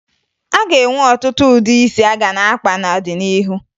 A ga-enwe ọtụtụ ụdị isi a ga na-akpa n'ọdịnihu